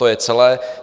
To je celé.